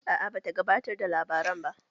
A'a ba ta gabatar da labaran ba